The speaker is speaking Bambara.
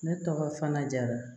Ne tɔgɔ fana jara